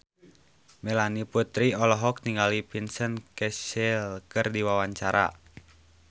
Melanie Putri olohok ningali Vincent Cassel keur diwawancara